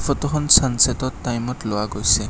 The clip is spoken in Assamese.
ফটোখন চান চেটৰ টাইমত লোৱা গৈছে।